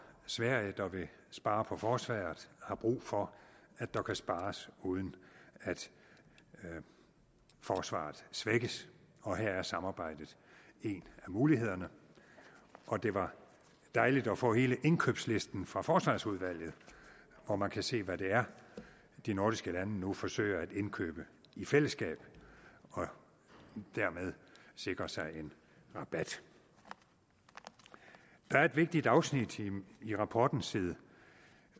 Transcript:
sverige der vil spare på forsvaret har brug for at der kan spares uden at forsvaret svækkes og her er samarbejdet en af mulighederne og det var dejligt at få hele indkøbslisten fra forsvarsudvalget hvor man kan se hvad det er de nordiske lande nu forsøger at indkøbe i fællesskab og dermed sikre sig en rabat der er et vigtigt afsnit i rapporten side